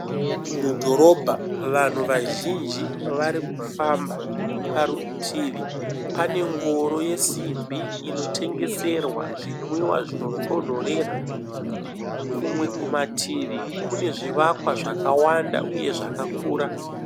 Mudhorobha vanhu vazhinji vari kufamba parutivi pane ngoro yemasimbi inotengeserwa zvinotonhorera, kumwe kumativi kune zvivakwa uye zvakakura.